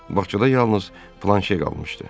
Bağçada yalnız Planşe qalmışdı.